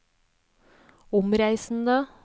omreisende